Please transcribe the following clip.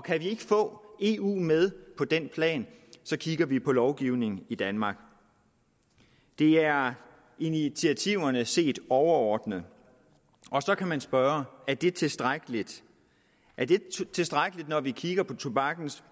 kan vi ikke få eu med på den plan så kigger vi på lovgivningen i danmark det er initiativerne set overordnet så kan man spørge er det tilstrækkeligt er det tilstrækkeligt når vi kigger på tobakkens